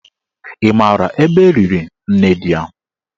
Ị maara ebe eliri nne di ya?